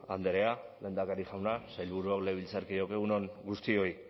andrea lehendakari jauna sailburuok legebiltzarkideok egun on guztioi